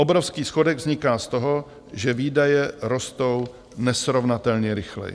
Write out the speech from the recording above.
Obrovský schodek vzniká z toho, že výdaje rostou nesrovnatelně rychleji.